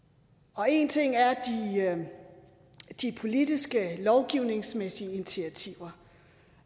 og en ting er de politiske lovgivningsmæssige initiativer